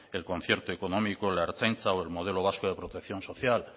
el concierto económico la ertzaintza o el modelo vasco de protección social